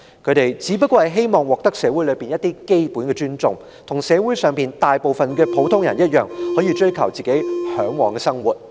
他們只是希望在社會上獲得基本的尊重，並能像社會上大多數人士一般，可以自由地追求自己嚮往的生活而已。